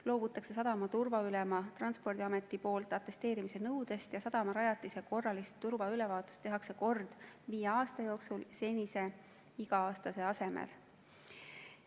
Loobutakse sadama turvaülema Transpordiameti poolt atesteerimise nõudest ja sadamarajatiste korralist turvaülevaatust tehakse kord viie aasta jooksul senise iga aasta asemel.